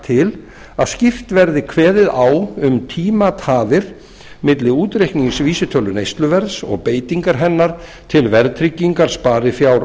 til að skýrt verði kveðið á um tímatafir milli útreiknings vísitölu neysluverðs og beitingar hennar til verðtryggingar sparifjár